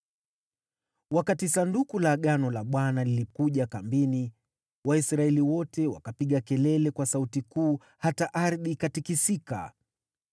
Wakati Sanduku la Agano la Bwana lilikuja kambini, Waisraeli wote wakapiga kelele kwa sauti kuu hata ardhi ikatikisika.